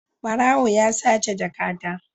Barawon ya sace jakata.